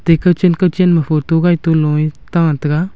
kow chen kow chen ma photo gai to nu e ta tega.